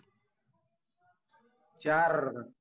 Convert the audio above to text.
चार